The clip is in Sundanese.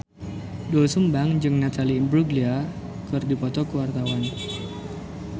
Doel Sumbang jeung Natalie Imbruglia keur dipoto ku wartawan